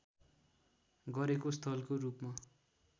गरेको स्थलको रूपमा